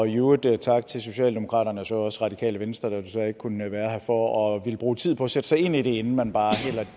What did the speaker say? i øvrigt tak til socialdemokratiet og også radikale venstre der desværre ikke kunne være her for at ville bruge tid på at sætte sig ind i det inden man bare